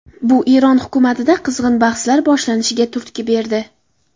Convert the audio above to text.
Bu Eron hukumatida qizg‘in bahslar boshlanishiga turtki berdi.